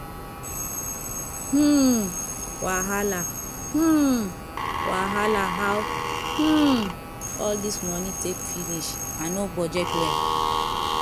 um wahala um wahala how um all this money take finish i no budget well